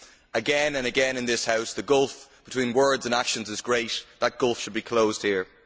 Again and again in this House, the gulf between words and actions is great. That gulf should be closed here.